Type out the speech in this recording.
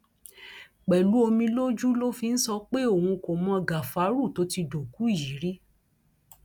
pẹlú omi lójú ló fi ń sọ pé òun kò mọ gàfárú tó ti dòkú yìí rí